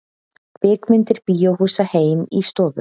Kvikmyndir bíóhúsa heim í stofu